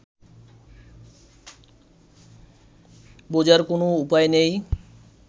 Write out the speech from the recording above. বোঝার কোনও উপায় নেই